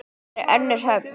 Þar er önnur höfn.